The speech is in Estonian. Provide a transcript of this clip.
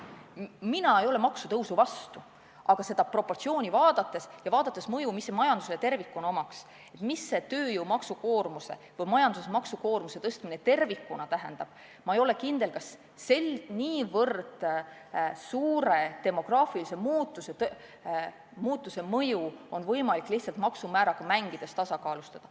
Mina ei ole maksutõusu vastu, aga asjaomast proportsiooni vaadates ja arvestades mõju, mida see majandusele tervikuna osutaks, mida tööjõumaksu koormuse või majanduse üldise maksukoormuse tõstmine tervikuna tähendaks, ma ei ole kindel, et nii suure demograafilise muutuse mõju on võimalik lihtsalt maksumääradega mängides tasakaalustada.